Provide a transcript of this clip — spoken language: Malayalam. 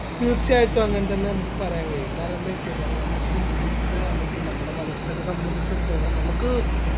തീർച്ചയായിട്ടും അങ്ങനെ തന്നെ നമുക്ക് പറയാൻ കഴിയും കാരണെന്ത വെച്ചഴിഞ്ഞാൽ നമുക്ക് മുസ്ലിംസ് അല്ലെങ്കിൽ നമ്മുടെ മതസ്ഥരെ സംബന്ധിച്ചടുത്തോളം നമുക്ക്